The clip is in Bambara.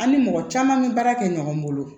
An ni mɔgɔ caman bɛ baara kɛ ɲɔgɔn bolo